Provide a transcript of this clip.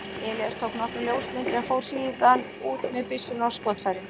Elías tók nokkrar ljósmyndir en fór síðan út með byssuna og skotfærin.